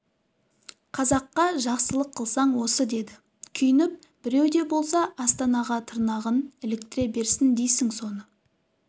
қазаққа жақсылық қылсаң осы деді күйініп біреу де болса астанаға тырнағын іліктіре берсін дейсің соны